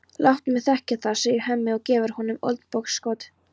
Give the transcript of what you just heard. Láttu mig þekkja það, segir Hemmi og gefur honum olnbogaskot.